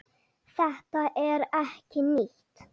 Þetta er ekkert nýtt.